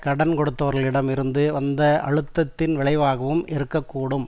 கடன் கொடுத்தவர்களிடம் இருந்து வந்த அழுத்தத்தின் விளைவாகவும் இருக்க கூடும்